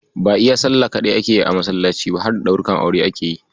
Ba iya Sallah ake yi a masallaci ba, harda ɗaurukan aure ake yi.